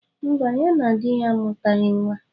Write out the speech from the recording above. Mba, ya na di ya amutaghi nwa.